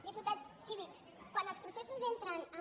diputat civit quan els processos entren en